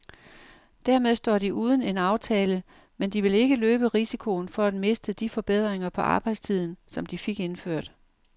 Dermed står de uden en aftale, men de vil ikke løbe risikoen for at miste de forbedringer på arbejdstiden, som de fik indført.